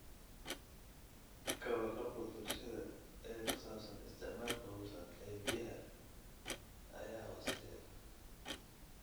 Ka warqabka bulshada ee ku saabsan isticmaalka hufan ee biyaha ayaa hooseeya.